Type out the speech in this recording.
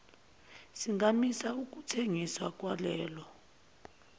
singamisa ukuthengiswa kwalelo